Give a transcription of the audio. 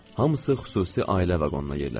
Hamısı xüsusi ailə vaqonuna yerləşdi.